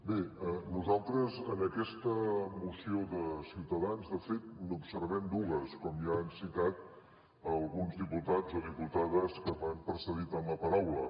bé nosaltres en aquesta moció de ciutadans de fet n’observem dues com ja han citat alguns diputats o diputades que m’han precedit en la paraula